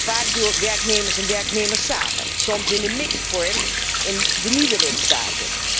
Vaak door werkgevers en werknemers samen, soms in een mixed vorm in de nieuwe lidstaten.